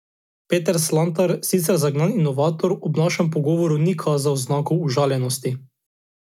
Peter Slatnar, sicer zagnan inovator, ob našem pogovoru ni kazal znakov užaljenosti.